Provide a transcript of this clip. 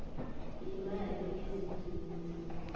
leemali lezindlu lomuntu